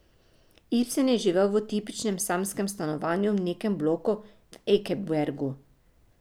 Ibsen je živel v tipičnem samskem stanovanju v nekem bloku v Ekebergu.